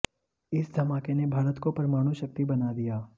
इस धमाके ने भारत को परमाणु शक्ति बना दिया